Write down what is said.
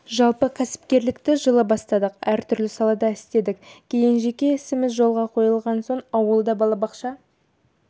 жалпы кәсіпкерлікті жылы бастадық әр түрлі салада істедік кейін жеке ісіміз жолға қойылған соң ауылда балабақша